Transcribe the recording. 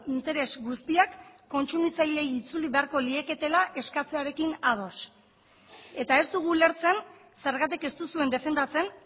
interes guztiak kontsumitzaileei itzuli beharko lieketela eskatzearekin ados eta ez dugu ulertzen zergatik ez duzuen defendatzen